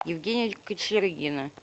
евгения кочергина